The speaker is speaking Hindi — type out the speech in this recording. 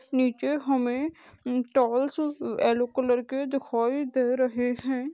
नीचे हमे येलो कलर के दिखाई दे रहे है।